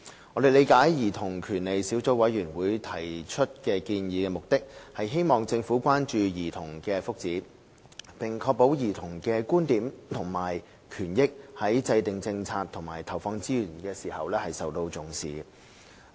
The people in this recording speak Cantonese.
我們理解兒童權利小組委員會提出建議的目的，是希望政府關注兒童的福祉，並確保兒童的觀點及權益在制訂政策和投放資源時受到重視。